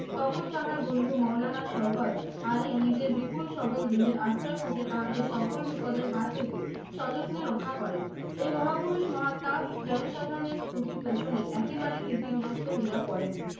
তখন তাহার বন্ধু মওলানা শওকত আলী নিজের বিপুল সবল দেহের আশ্রয়পুটে তাহাকে সকল বিপদের হাত হইতে সযত্নে রক্ষা করেন। এই মহাপুরুষ মহাত্মা জনসাধারণের স্তুতি তোষণে একেবারে তিতিবিরক্ত হইয়া পড়েন।